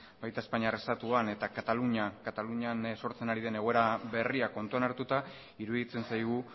baita espainiar estatuan eta katalunian sortzen ari den egoera berria kontuan hartuta iruditzen zaigu